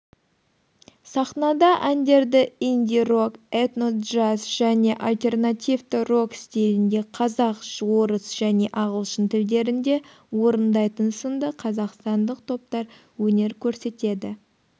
сахнада әндерді инди-рок этно-джаз және альтернативті рок стилінде қазақ орыс және ағылшын тілдерінде орындайтын сынды қазақстандық топтар өнер көрсетеді